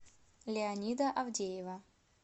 леонида авдеева